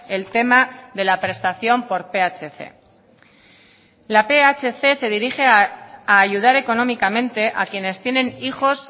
el tema de la prestación por phc la phc se dirige a ayudar económicamente a quienes tienen hijos